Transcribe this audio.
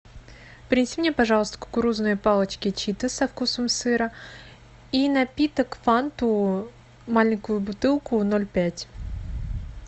принеси мне пожалуйста кукурузные палочки читос со вкусом сыра и напиток фанту маленькую бутылку ноль пять